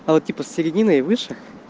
а вот типа с середины и выше